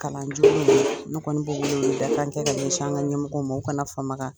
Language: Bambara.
Kalan ne kɔni bɛ wele weleli da kan kɛ ka ɲɛsin an ka ɲɛmɔgɔw ma o kana fama